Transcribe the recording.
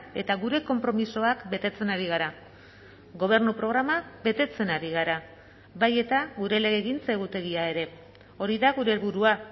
eta gure konpromisoak betetzen ari gara gobernu programa betetzen ari gara bai eta gure legegintza egutegia ere hori da gure helburua